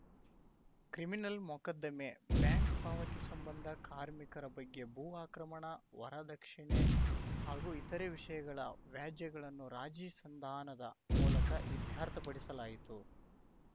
criminal ಮೊಕದ್ದಮೆ bank ಪಾವತಿ ಸಂಬಂಧ ಕಾರ್ಮಿಕರ ಬಗ್ಗೆ ಭೂ ಅಕ್ರಮಣ ವರದಕ್ಷಿಣೆ ಹಾಗೂ ಇತರೆ ವಿಷಯಗಳ ವ್ಯಾಜ್ಯಗಳನ್ನು ರಾಜಿ ಸಂದಾನದ ಮೂಲಕ ಇತ್ಯರ್ಥಪಡಿಸಲಾಯಿತು